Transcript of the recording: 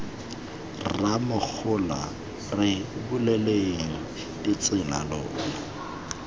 rramogola re buleleng ditsela lona